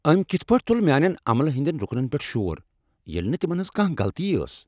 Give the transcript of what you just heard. أمۍ کتھ پٲٹھۍ تل میٛانٮ۪ن عملہ ہٕنٛدٮ۪ن رکنن پٮ۪ٹھ شور ییٚلہ نہٕ تمن ہٕنٛز کانٛہہ غلطی ٲسٕے!